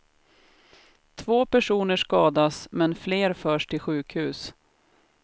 Två personer skadas, men fler förds till sjukhus.